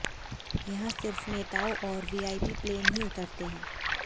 यहां सिर्फ नेताओं और वीआईपी प्लेन ही उतरते हैं